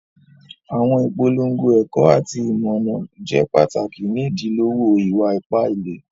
Àwọn ìpọ̀lọ́ngọ̀ ẹ̀kọ̀ àti ìmọ̀ràn jẹ́ pàtákì ní ìdílọ̀wọ̀ ìwà-ìpà ìlẹ̀.